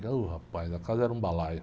E, ôh, rapaz, a casa era um balaio.